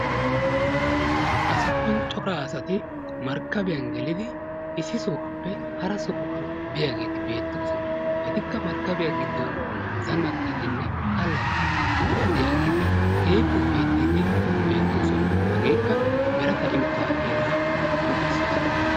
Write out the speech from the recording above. Ha sohuwan cora asati. markkabiyan gelidi issi sohuwappe hara sohuwa biyageeti beettoosona. Etikka markkabiya giddon zannaxxiiddinne allaxxiiddi de"iyageeti keehippe ufayttiiddi beettoosona. Hageekka mereta imotaa heeraa qonccisses.